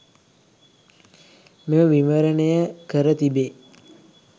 මෙම විවරණය කර තිබේ.